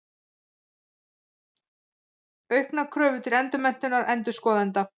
Auknar kröfur til endurmenntunar endurskoðenda.